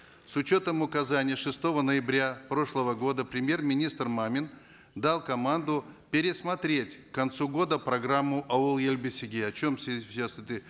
с учетом указаний шестого ноября прошлого года премьер министр мамин дал команду пересмотреть к концу года программу ауыл ел бесігі о чем сейчас это